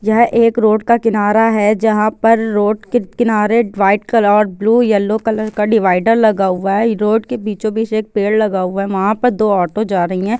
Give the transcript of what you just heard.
यह एक रोड का किनारा है जहां पर रोड के किनारे वाइट कलर और ब्लू येलो कलर का डिवाइडर लगा हुआ है रोड के बीचो बिच एक पेड़ लगा हुआ है वहाँ पर दो ऑटो जा रही है।